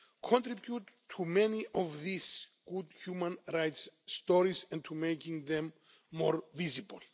has contributed to many of these good human rights stories' and for making them more visible.